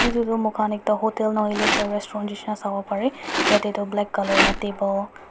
etu tu moi khan ekta hotel na hoiley ekta restaurant nisna shabo pare yate toh black colour lah table --